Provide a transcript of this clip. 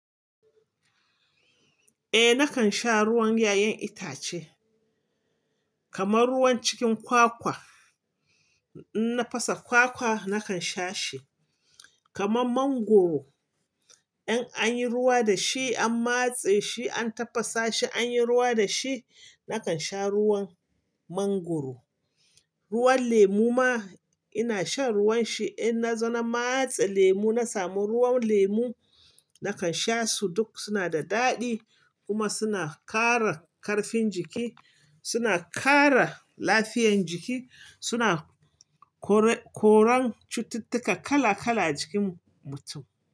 Eh nakan sha ruwan 'ya'yan itace kamar ruwan cikin kwakwa. In na fasa kwakwa nakan sha shi. Kaman mangwaro in anyi ruwa dashi an matse shi an tafasa shi anyi ruwa dashi, nakan sha ruwan mangwaro. Ruwan lemu ma inashan ruwan shi in na zo na matse lemu nasamu ruwan lemu nakan sha su duk suna da daɗi kuma suna ƙara karfin jiki, suna ƙara lafiyan jiki, suna kore- koren cututtuka kala kala ajikin mutum.